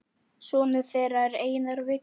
Sonur þeirra er Einar Vignir.